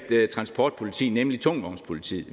transportpoliti nemlig tungtvognspolitiet